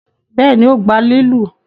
béèni o gbà lilu?